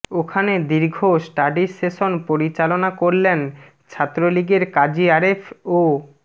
ওখানে দীর্ঘ study session পরিচালনা করলেন ছাত্রলীগের কাজী আরেফ ও